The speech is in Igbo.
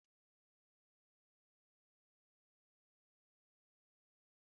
N'uhuruchi ọ bụla, mama m na-abụ abụ ndị mmadụ